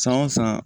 San o san